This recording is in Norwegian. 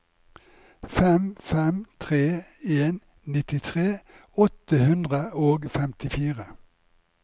fem fem tre en nittitre åtte hundre og femtifire